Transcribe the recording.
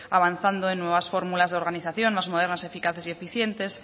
avanzando en nuevas fórmulas de organización más modernas eficaces y eficientes